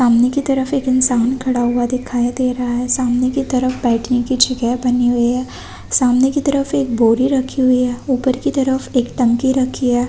सामने की तरफ एक इंसान खड़ा हुआ दिखाई दे रहा है सामने की तरफ बैठने की जगह बनी हुई है सामने की तरफ एक बोरी रखी हुई है ऊपर की तरफ एक टंकी रखी है।